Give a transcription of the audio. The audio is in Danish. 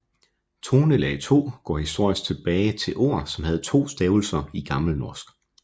Tonelag 2 går historisk tilbage til ord som havde to stavelser i gammelnorsk